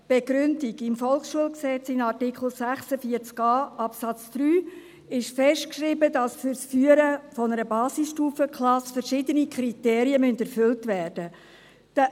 Begründung: Im Volksschulgesetz (VSG), in Artikel 46a Absatz 3, ist festgeschrieben, dass für das Führen einer Basisstufenklasse verschiedene Kriterien erfüllt werden müssen.